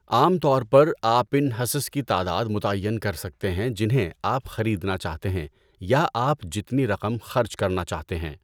عام طور پر، آپ ان حصص کی تعداد متعین کر سکتے ہیں جنہیں آپ خریدنا چاہتے ہیں یا آپ جتنی رقم خرچ کرنا چاہتے ہیں۔